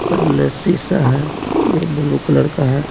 सामने शीशा है जो ब्लू कलर का है।